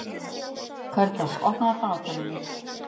Karitas, opnaðu dagatalið mitt.